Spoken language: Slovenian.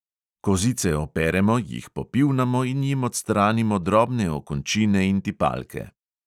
Kozice operemo, jih popivnamo in jim odstranimo drobne okončine in tipalke.